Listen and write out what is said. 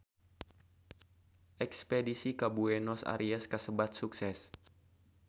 Espedisi ka Buenos Aires kasebat sukses